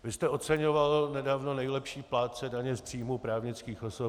Vy jste oceňoval nedávno nejlepší plátce daně z příjmů právnických osob.